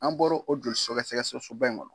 An bɔro o joli sogɛsɛgɛ soba in kɔnɔ.